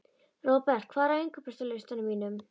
Robert, hvað er á innkaupalistanum mínum?